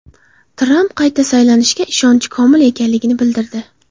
Tramp qayta saylanishiga ishonchi komil ekanligini bildirdi.